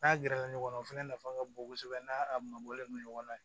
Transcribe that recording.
N'a gɛrɛla ɲɔgɔn na o fɛnɛ nafa ka bon kosɛbɛ n'a a mabɔlen don ɲɔgɔn na